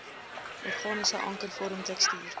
organiese ankervorm tekstuur